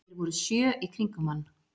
Þeir voru sjö í kringum hann